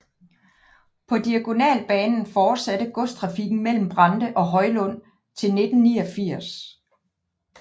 På Diagonalbanen fortsatte godstrafikken mellem Brande og Hjøllund til 1989